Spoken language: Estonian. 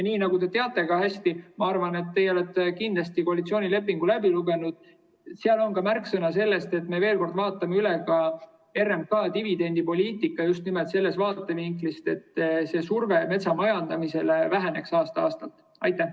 Nii nagu te hästi teate, sest ma arvan, et teie olete kindlasti koalitsioonilepingu läbi lugenud, on koalitsioonilepingus ka märksõna, et me veel kord vaatame üle RMK dividendipoliitika just nimelt sellest vaatevinklist, et see surve metsamajandamisele aasta-aastalt väheneks.